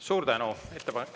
Suur tänu!